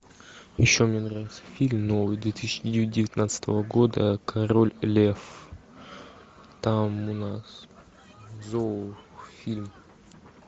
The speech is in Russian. еще мне нравится фильм новый две тысячи девятнадцатого года король лев там у нас зоофильм